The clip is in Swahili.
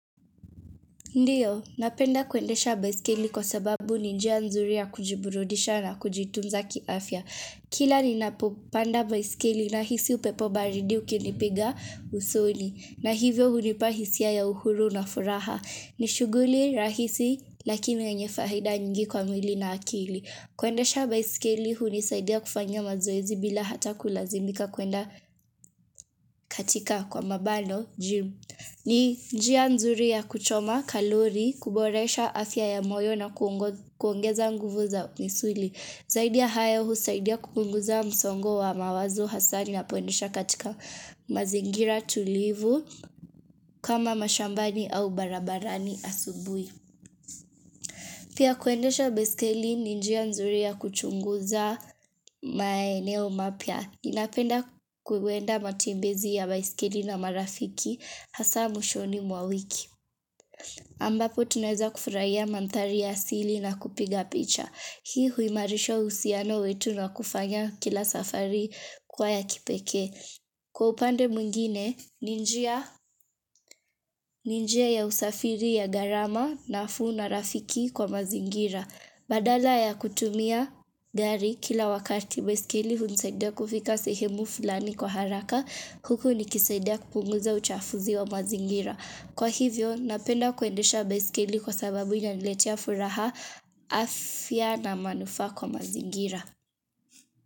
Ndio, napenda kuendesha baiskeli kwa sababu ni njia nzuri ya kujiburudisha na kujitunza kiafya. Kila ninapopanda baiskeli nahisi upepo baridi ukinipiga usoni. Na hivyo hunipa hisia ya uhuru na furaha. Ni shuguli rahisi lakini yenye faida nyingi kwa mwili na akili. Kuendesha baiskeli hunisaidia kufanya mazoezi bila hata kulazimika kwenda katika kwa mabano gym. Ni njia nzuri ya kuchoma kalori, kuboresha afya ya moyo na kuongeza nguvu za misuli. Zaid yia hayo husaidia kupunguza msongo wa mawazo hasa ninapoendesha katika mazingira tulivu kama mashambani au barabarani asubui. Pia kuendesha baiskeli ni njia nzuri ya kuchunguza maeneo mapya. Ninapenda kuenda matembezi ya baiskeli na marafiki hasa mwishoni mwa wiki. Ambapo tunaeza kufurahia mandhari ya asili na kupiga picha. Hii huimarisha uhusiano wetu na kufanya kila safari kuwa ya kipekee. Kwa upande mwingine, ni njia ni njia ya usafiri ya gharama nafuu na rafiki kwa mazingira. Badala ya kutumia gari kila wakati baiskeli hunisaidia kufika sehemu fulani kwa haraka huku nikisaidia kupunguza uchafuzi wa mazingira. Kwa hivyo napenda kuendesha baiskeli kwa sababu inaniletia furaha afya na manufaa kwa mazingira.